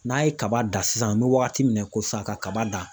N'a' ye kaba dan sisan an bɛ wagati min na i ko sisan ka kaba dan.